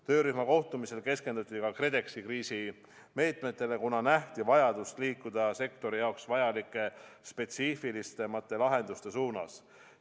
Töörühma kohtumisel keskenduti ka KredExi kriisimeetmetele, kuna nähti vajadust liikuda sektori jaoks vajalike spetsiifilisemate lahenduste suunas.